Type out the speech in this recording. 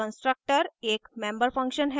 constructor एक member function है